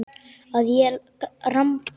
Að ég ramba aðeins.